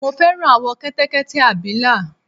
mo fẹ́ràn àwọ̀ Kẹtẹkẹtẹ abìlà